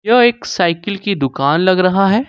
यह एक साइकिल की दुकान लग रहा है।